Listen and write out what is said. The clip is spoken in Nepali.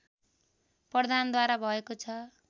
प्रधानद्वारा भएको छ